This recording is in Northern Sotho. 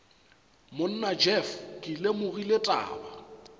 monna jeff ke lemogile taba